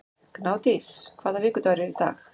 Gnádís, hvaða vikudagur er í dag?